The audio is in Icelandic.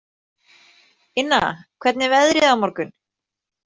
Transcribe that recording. Inna, hvernig er veðrið á morgun?